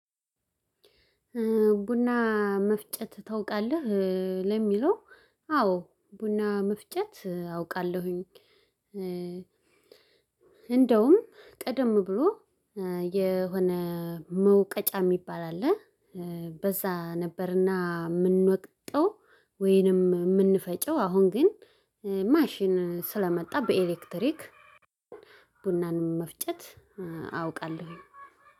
ቡና መፍጨት ታውቃለህ ለሚለው አዎ ቡና መፍጨት አውቃለሁኝ። እንደውም ቀደም ብሎ የሆነ መውቀጫ የሚባል አለ። በዛ ነበርና የምንወቅጠው ወይንም የምንፈጪው አሁን ግን ማሽን ስለመጣ በኤሌክትሪክ። ቡናንም መፍጨት አውቃለሁኝ